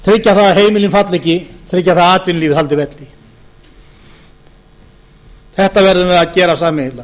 það að heimilin falli ekki tryggja það að atvinnulífið haldi velli þetta verðum við að gera sameiginlega